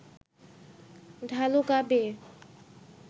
ঢালু গা বেয়ে